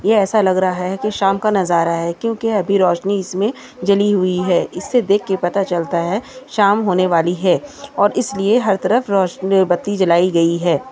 ये ऐसा लग रहा है कि शाम का नज़ारा है क्योंकि अभी रोशनी इसमें जली हुई है इससे देखकर पता चलता है शाम होने वाली है और इसलिए हर तरफ रोशनी बत्ती जलाई गई है।